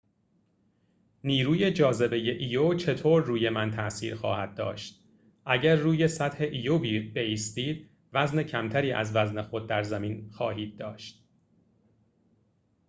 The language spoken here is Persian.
نیروی جاذبه ایو چطور روی من تاثیر خواهد داشت اگر روی سطح ایو بایستید وزن کمتری از وزن خود در زمین خواهید داشت